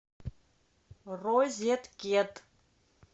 розеткед